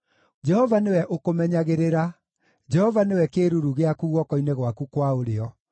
Jehova nĩwe ũkũmenyagĩrĩra: Jehova nĩwe kĩĩruru gĩaku guoko-inĩ gwaku kwa ũrĩo;